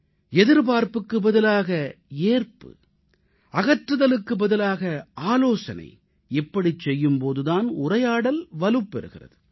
எதிர்பார்ப்புக்கு பதிலாக ஏற்பு அகற்றுதலுக்கு பதிலாக ஆலோசனைஇப்படிச் செய்யும் போது தான் உரையாடல் வலுப்பெறுகிறது